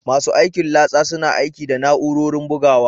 Masu aikin latsa suna aiki da na'urorin bugawa